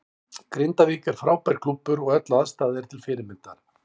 Grindavík er frábær klúbbur og öll aðstaða er til fyrirmyndar.